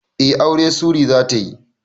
Eh aure Sury zatayi